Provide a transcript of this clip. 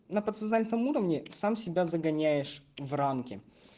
на подсознательном уровне сам себя загоняешь в рамки